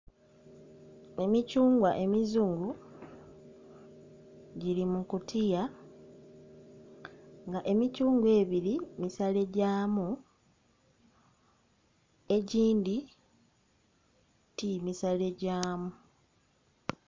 Emithungwa emizungu giri mukutiya nga emithungwa ebiri misale gyamu egindhi ti misale gyamu.